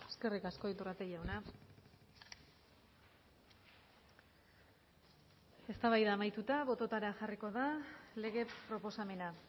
eskerrik asko iturrate jauna eztabaida amaituta bototara jarriko da lege proposamena